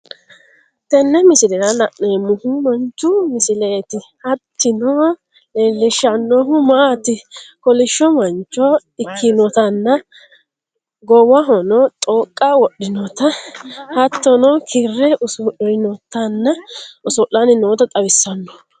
Tenne misillera lanemohuu manchhu misiletti hattino lelshannohu matti kolishoo manchoo ekkinotana goowahonno xoqqa worinotaa hattono kiire uusurinotana osolanni noota xawisanno.